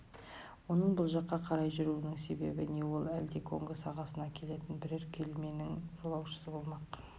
оның бұл жаққа қарай жүруінің себебі не ол әлде конго сағасына келетін бірер кеменің жолаушысы болмақ